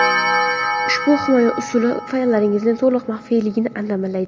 Ushbu himoya usuli fayllaringizning to‘liq maxfiyligini ta’minlaydi.